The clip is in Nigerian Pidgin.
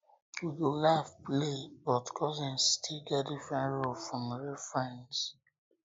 we go laugh play but cousins still get um different role from real friends